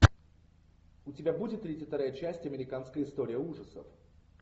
у тебя будет тридцать вторая часть американская история ужасов